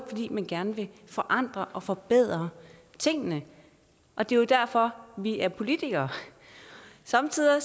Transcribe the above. fordi man gerne ville forandre og forbedre tingene og det er jo derfor vi er politikere somme tider